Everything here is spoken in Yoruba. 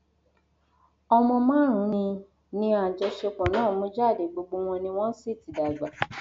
ọmọ márùnún ni ni àjọṣepọ náà mú jáde gbogbo wọn ni wọn sì ti dàgbà